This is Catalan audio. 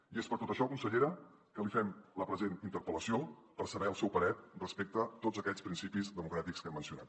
i és per tot això consellera que li fem la present interpel·lació per saber el seu parer respecte a tots aquests principis democràtics que hem mencionat